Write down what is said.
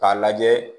K'a lajɛ